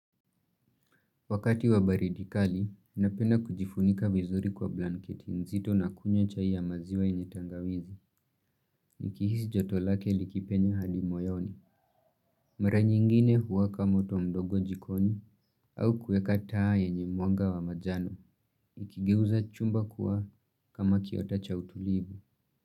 Wakati wa baridi kali, ninapenda kujifunika vizuri kwa blanketi nzito na kunywa chai ya maziwa yenye tangawizi. Nikihisi joto lake likipenye hadi moyoni. Mara nyingine huwaka moto mdogo jikoni au kuweka taa yenye mwanga wa majano. Ikigeuza chumba kuwa kama kiota cha utulivu.